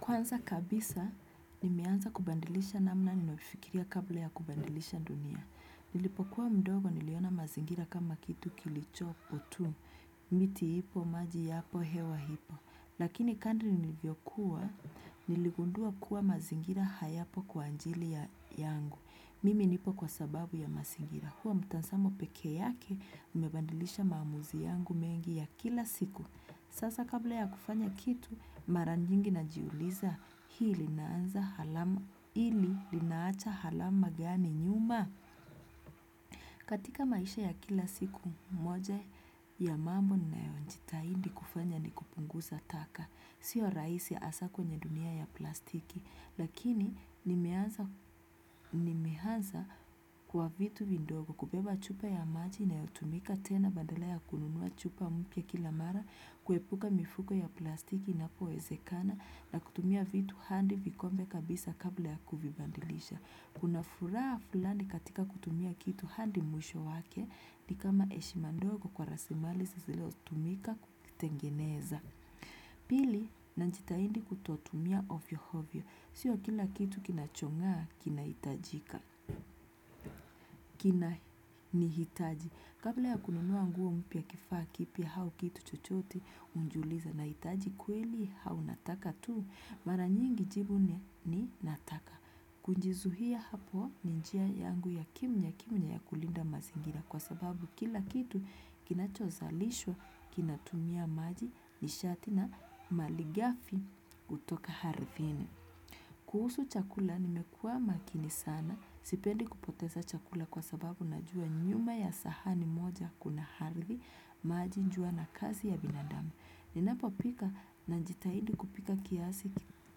Kwanza kabisa, nimeanza kubadilisha namna ninayofikiria kabla ya kubadilisha dunia. Nilipokuwa mdogo niliona mazingira kama kitu kilichopo tu. Miti ipo, maji yapo, hewa ipo. Lakini kando nilivyokuwa, niligundua kuwa mazingira hayapo kwa ajili yangu. Mimi nipo kwa sababu ya mazingira. Kuwa mtazamo peke yake, umebadilisha maamuzi yangu mengi ya kila siku. Sasa kabla ya kufanya kitu mara nyingi na jiuliza hili linaacha alama gani nyuma. Katika maisha ya kila siku moja ya mambo ninayojitahidi kufanya ni kupunguza taka. Siyo rahisi hasa kwenye dunia ya plastiki. Lakini nimeanza kwa vitu vidogo kubeba chupa ya maji inayotumika tena badala ya kununua chupa mpya kila mara. Kuepuka mifuko ya plastiki inapowezekana na kutumia vitu hadi vikombe kabisa kabla ya kuvibadilisha. Kuna furaha fulani katika kutumia kitu hadi mwisho wake ni kama heshima ndogo kwa rasimali zilizo tumika kuvitengeneza. Pili najitahidi kutotumia ovyo ovyo. Siyo kila kitu kinachongaa kinahitajika. Kina nihitaji. Kabla ya kununua nguo mpya kifaa kipya au kitu chochote unajiuliza nahitaji kweli au nataka tu mara nyingi jibu ni nataka. Kujizuia hapo ni njia yangu ya kimya kimya ya kulinda mazingira kwa sababu kila kitu kinacho zalishwa kinatumia maji nishati na malighafi kutoka ardhini. Kuhusu chakula nimekuwa makini sana sipendi kupoteza chakula kwa sababu najua nyuma ya sahani moja kuna ardhi, maji, jua na kazi ya binadamu. Ninapo pika najitahidi kupika kiasi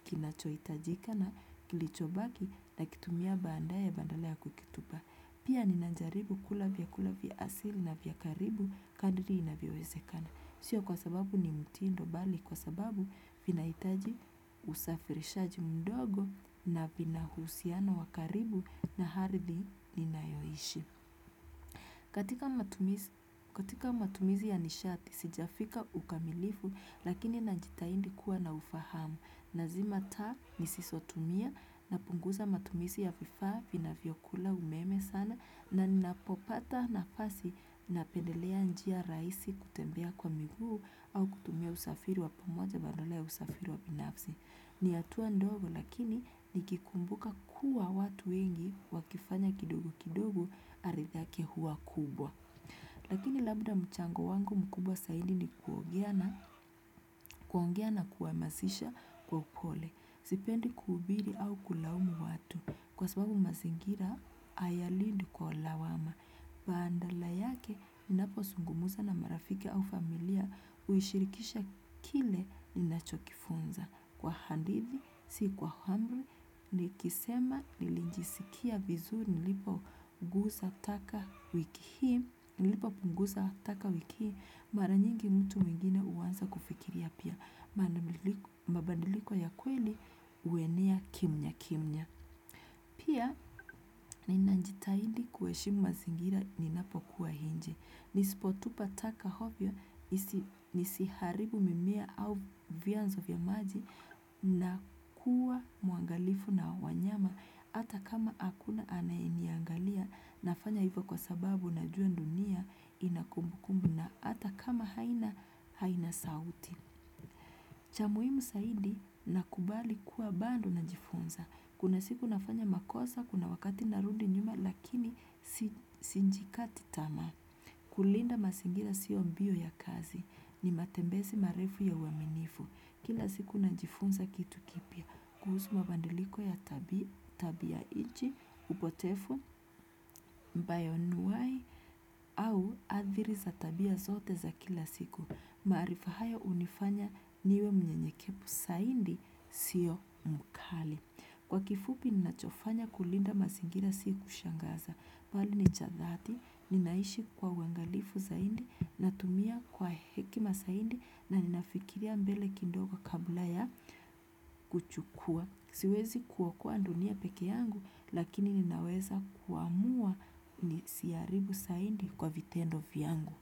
kinachohitajika na kilichobaki na kitumia baadaye badala ya kukitupa. Pia ninajaribu kula vyakula vya asili na vya karibu kadiri inavyowezekana. Siyo kwa sababu ni mtindo bali kwa sababu vinahitaji usafirishaji mdogo na vinahusiano wa karibu na ardhi ninayoishi. Katika matumizi ya nishati, sijafika ukamilifu lakini najitahidi kuwa na ufahamu. Nazima taa nisizotumia napunguza matumizi ya vifaa vinavyokula umeme sana na ninapopata nafasi napendelea njia rahisi kutembea kwa miguu au kutumia usafiri wa pamoja badala ya usafiri wa binafsi. Ni hatua ndogo lakini nikikumbuka kuwa watu wengi wakifanya kidogo kidogo arithake hua kubwa. Lakini labda mchango wangu mkubwa, zaidi ni kuongea na kuamasisha kwa upole. Sipendi kuhubiri au kulaumu watu. Kwa sababu mazingira haya lead kwa lawama. Badala yake, ninapozungumuza na marafiki au familia uishirikisha kile ninachokifunza. Kwa hadithi, si kwa amri, nikisema nilijisikia vizuri nilipopunguza taka wiki hii, mara nyingi mtu mwingine huanza kufikiria pia. Mabadiliko ya kweli huenea kimya kimya pia ninajitahidi kuheshimu mazingira ninapokuwa nje nisipotupa taka ovyo nisiharibu mimea au vianzo vya maji na kuwa muangalifu na wanyama hata kama hakuna anayeniangalia nafanya hivyo kwa sababu najua dunia inakumbukumbu na hata kama haina sauti. Cha muhimu zaidi nakubali kuwa bado na jifunza. Kuna siku nafanya makosa, kuna wakati narudi nyuma lakini sijikati tamaa. Kulinda mazingira siyo mbio ya kazi ni matembezi marefu ya uaminifu. Kila siku najifunza kitu kipya. Kuhusu mabadiliko ya tabia nchi, upotevu, bayonuai au adhiri za tabia zote za kila siku. Maarifa hayo hunifanya niwe mnyenyekevu zaidi siyo mkali. Kwa kifupi ninachofanya kulinda mazingira si kushangaza. Nali ni cha dhati, ninaishi kwa uangalifu zaidi, natumia kwa hekima zaidi na ninafikiria mbele kidogo kabla ya kuchukua. Siwezi kuokoa dunia peke yangu lakini ninaweza kuamua nisiharibu zaidi kwa vitendo yangu.